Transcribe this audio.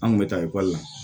An kun bɛ taa ekɔli la